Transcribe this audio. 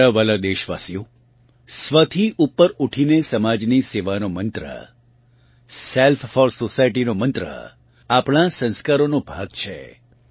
મારા વહાલાં દેશવાસીઓ સ્વ થી ઉપર ઊઠીને સમાજની સેવાનો મંત્ર સેલ્ફ ફોર સોસાયટીનો મંત્ર આપણાં સંસ્કારોનો ભાગ છે